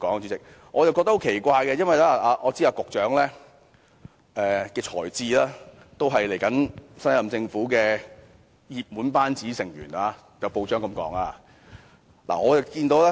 主席，我覺得很奇怪，因為我知道以局長的才智，他也是候任政府的熱門班子成員，也有報章這樣報道。